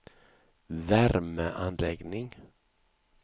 värmeanläggning